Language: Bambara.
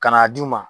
Ka n'a d'u ma